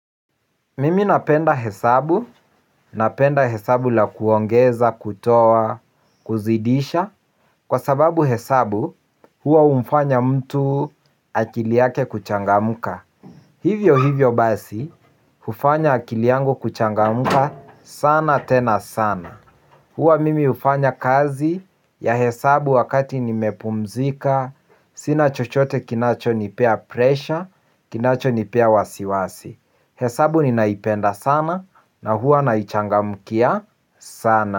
Mimi napenda hesabu, napenda hesabu la kuongeza, kutoa, kuzidisha kwa sababu hesabu, huwa humfanya mtu akiliyake kuchangamka. Hivyo hivyo basi, hufanya akiliyangu kuchangamka sana tena sana. Huwa mimi hufanya kazi ya hesabu wakati nimepumzika. Sina chochote kinacho nipea pressure, kinacho nipea wasiwasi. Hesabu ni naipenda sana na huwa naichangamkia sana.